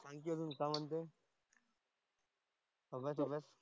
आणखी अजून काय म्हणतेयस? अभ्यास अभ्यास.